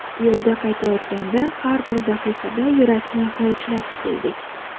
Yo‘lda qaytayotganda har bir daqiqada yurakni hovuchlab keldik.